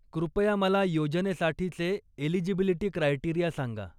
कुपया मला योजनेसाठीचे eligibility criteria सांगा.